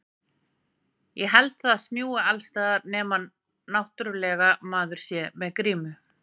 Ég held það smjúgi alls staðar, nema náttúrlega maður sé með grímu.